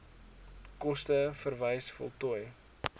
koste verwys voltooi